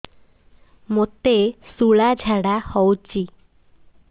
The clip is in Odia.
ମୋତେ ଶୂଳା ଝାଡ଼ା ହଉଚି